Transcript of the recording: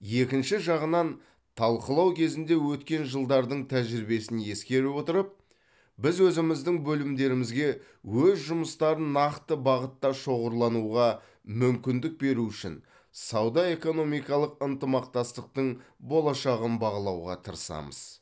екінші жағынан талқылау кезінде өткен жылдардың тәжірибесін ескере отырып біз өзіміздің бөлімдерімізге өз жұмыстарын нақты бағытта шоғырлануға мүмкіндік беру үшін сауда экономикалық ынтымақтастықтың болашағын бағалауға тырысамыз